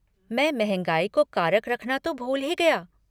मैं महँगाई को कारक रखना तो भूल ही गया।